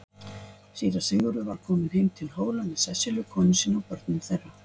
Síra Sigurður var kominn heim til Hóla með Sesselju konu sinni og börnum þeirra.